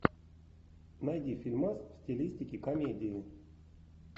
найди фильмас в стилистике комедии